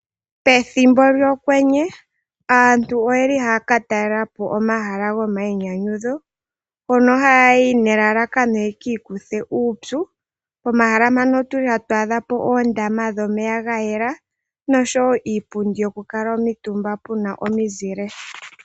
Pethimbo lyokwenye aantu oyeli haya ka talelapo omahala go mainyanyudho mpono haya yi ne lalakano yeki ikuthe uupyu. Pomahala mpano otuli hatu adhapo oondama dhomeya gayela noshowo iipundi yoku kalwa omitumba puna omizile.